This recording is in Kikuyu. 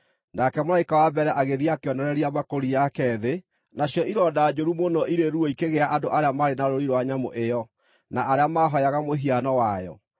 Nake mũraika wa mbere agĩthiĩ akĩonoreria mbakũri yake thĩ, nacio ironda njũru mũno irĩ ruo ikĩgĩa andũ arĩa maarĩ na rũũri rwa nyamũ ĩyo, na arĩa maahooyaga mũhiano wayo.